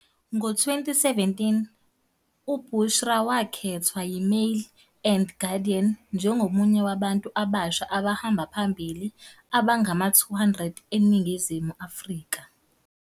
Ngo-2017 uBushra wakhethwa yiMail and Guardian njengomunye wabantu abasha abahamba phambili abangama-200 eNingizimu Afrika